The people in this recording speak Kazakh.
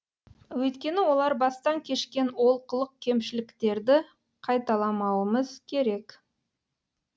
өйткені олар бастан кешкен олқылық кемшіліктерді қайталамауымыз керек